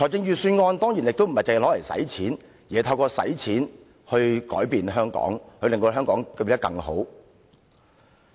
預算案亦不只是花錢，而是透過花錢來改變香港，令香港變得更好。